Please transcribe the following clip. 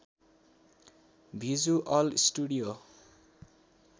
visual studio